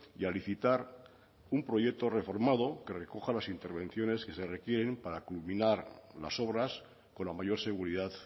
y a licitar un proyecto reformado que recoja las intervenciones que se requieren para culminar las obras con la mayor seguridad